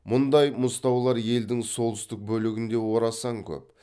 мұндай мұзтаулар елдің солтүстік бөлігінде орасан көп